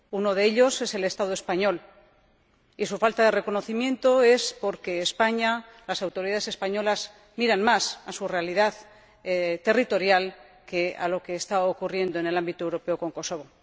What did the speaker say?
Uno de ellos es el Estado español, y su falta de reconocimiento se debe a que España ―las autoridades españolas― miran más a su realidad territorial que a lo que está ocurriendo en el ámbito europeo con Kosovo.